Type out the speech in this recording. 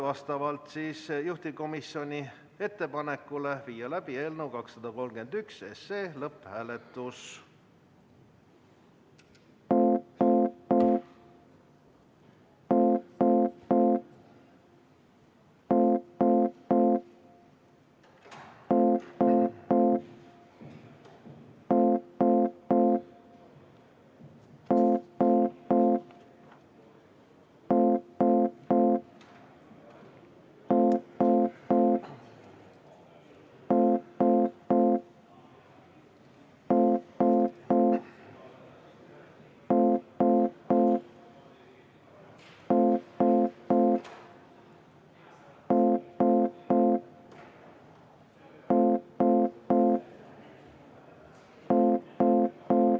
Vastavalt juhtivkomisjoni ettepanekule viime läbi eelnõu 231 lõpphääletuse.